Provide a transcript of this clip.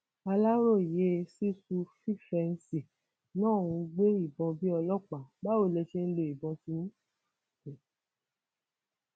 aláròye sísù fífẹǹsì náà ń gbé ìbọn bíi ọlọpàá báwo lẹ ṣe ń lo ìbọn tiyín